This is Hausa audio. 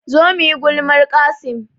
Zo muyi gulmar Qassim